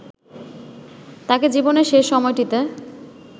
তাঁকে জীবনের শেষ সময়টিতে